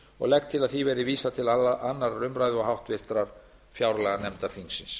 og legg til að því verði vísað til annarrar umræðu og háttvirtrar fjárlaganefndar þingsins